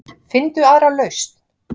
Finndu aðra lausn.